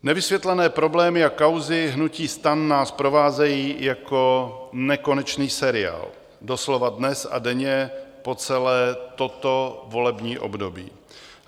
Nevysvětlené problémy a kauzy hnutí STAN nás provázejí jako nekonečný seriál doslova dnes a denně po celé toto volební období.